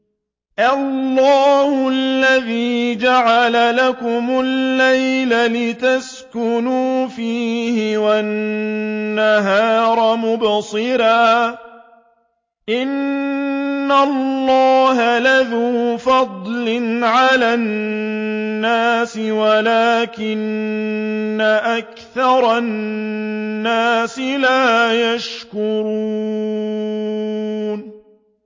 اللَّهُ الَّذِي جَعَلَ لَكُمُ اللَّيْلَ لِتَسْكُنُوا فِيهِ وَالنَّهَارَ مُبْصِرًا ۚ إِنَّ اللَّهَ لَذُو فَضْلٍ عَلَى النَّاسِ وَلَٰكِنَّ أَكْثَرَ النَّاسِ لَا يَشْكُرُونَ